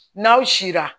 N'aw sira